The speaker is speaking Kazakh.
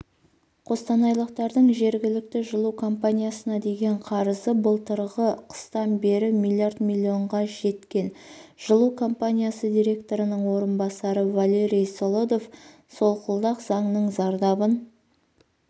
қостанайлықтардың жергілікті жылу компаниясына деген қарызы былтырғы қыстан бері млрд миллионға жеткен жылу компаниясы директорының орынбасары валерий солодов солқылдақ заңның зардабын